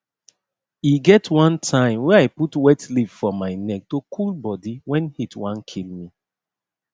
e get one time wey i put wet leaf for my neck to cool body when heat wan kill me